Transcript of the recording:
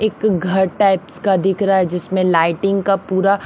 एक घर टाइप्स का दिख रहा है जिसमें लाइटिंग का पूरा--